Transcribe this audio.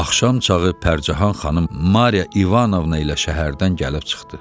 Axşam çağı Pərcəhan xanım Mariya İvanovna ilə şəhərdən gəlib çıxdı.